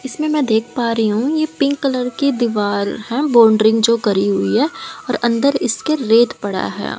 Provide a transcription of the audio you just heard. इसमें मैं देख पा रही हूं ये पिंक कलर की दीवार है बाउंड्री जो करी हुई है और अंदर इसके रेत पड़ा है।